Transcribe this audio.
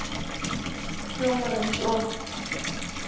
Hljómar eins og